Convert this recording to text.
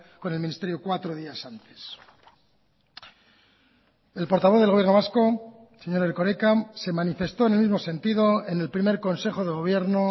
con el ministerio cuatro días antes el portavoz del gobierno vasco señor erkoreka se manifestó en el mismo sentido en el primer consejo de gobierno